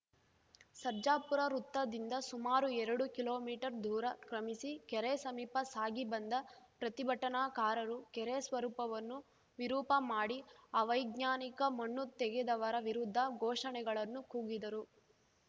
ಸರ್ಜಾಪುರ ವೃತ್ತದಿಂದ ಸುಮಾರು ಎರಡು ಕಿಲೋಮೀಟರ್ ದೂರ ಕ್ರಮಿಸಿ ಕೆರೆ ಸಮೀಪ ಸಾಗಿ ಬಂದ ಪ್ರತಿಭಟನಾಕಾರರು ಕೆರೆ ಸ್ವರೂಪವನ್ನು ವಿರೂಪ ಮಾಡಿ ಅವೈಜ್ಞಾನಿಕ ಮಣ್ಣು ತೆಗೆದವರ ವಿರುದ್ಧ ಘೋಷಣೆಗಳನ್ನು ಕೂಗಿದರು